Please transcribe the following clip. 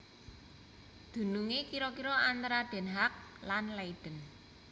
Dunungé kira kira antara Den Haag lan Leiden